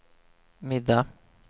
middag